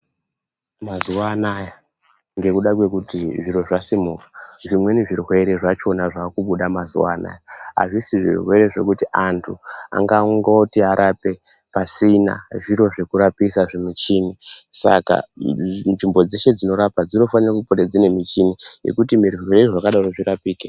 Mazuwa anaya ngekuda kwekuti zviro zvasimuka zvimweni zvirwere zvachona zvaakubuda mazuwa anaya azvisi zvirwere zvekuti antu angangoti arape pasina zviro zvekurapisa michini saka nzvimbo dzese dzinorapa dzinofane kunge dzine michini yekuti zvirwere zvakadaro zvirapike.